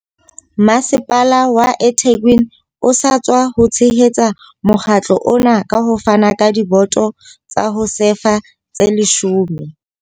Masepala wa eThekwini o sa tswa tshehetsa mokga tlo ona ka ho fana ka diboto tsa ho sefa tse 10.